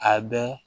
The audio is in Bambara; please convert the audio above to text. A bɛ